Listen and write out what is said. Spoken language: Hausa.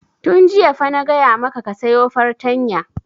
Tun jiya fa na gaya maka ka sayo fartanya!